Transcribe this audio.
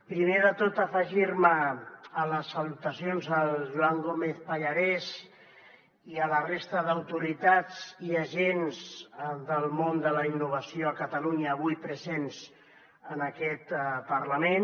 primer de tot afegir me a les salutacions al joan gómez pallarès i a la resta d’autoritats i agents del món de la innovació a catalunya avui presents en aquest parlament